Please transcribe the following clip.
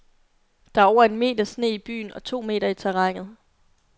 Der er over en meter sne i byen og to meter i terrænet.